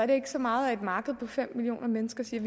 det ikke så meget at et marked på fem millioner mennesker siger